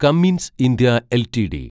Cummins India LTD